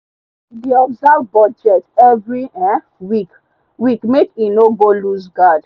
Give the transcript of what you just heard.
he dey observe budget every um week week make e no go looseguard